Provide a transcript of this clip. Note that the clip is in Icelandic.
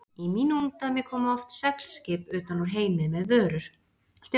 Í mínu ungdæmi komu oft seglskip utan úr heimi með vörur.